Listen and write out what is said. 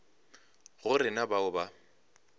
go re na bao ba